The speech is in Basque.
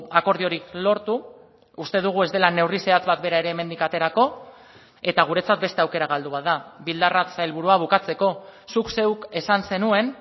akordiorik lortu uste dugu ez dela neurri zehatz bat bera ere hemendik aterako eta guretzat beste aukera galdu bat da bildarratz sailburua bukatzeko zuk zeuk esan zenuen